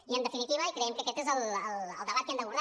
i en definitiva creiem que aquest és el debat que hem d’abordar